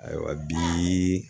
Ayiwa bi